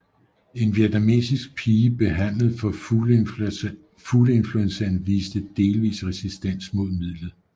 En vietnamesisk pige behandlet for fugleinfluenzaen viste delvis resistens mod midlet